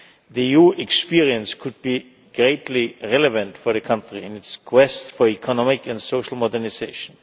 The EUʼs experience could be greatly relevant for the country in its quest for economic and social modernisation.